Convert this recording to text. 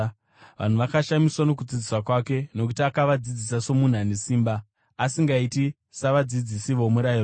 Vanhu vakashamiswa nokudzidzisa kwake, nokuti akavadzidzisa somunhu ane simba, asingaiti savadzidzisi vomurayiro.